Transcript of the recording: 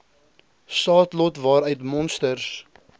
saadlot waaruit monsters